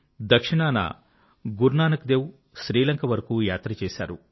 దక్షిణాన గురునానక్ దేవ్ శ్రీలంక వరకూ యాత్ర చేశారు